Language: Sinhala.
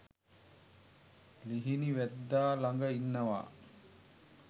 ලිහිණි වැද්දා ළඟ ඉන්නවා